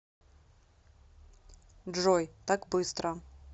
джой так быстро